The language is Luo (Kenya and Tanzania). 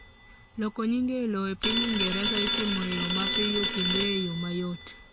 loko nying e lowo e piny ingereza itimo e yoo mapiyo kendo e yoo mayot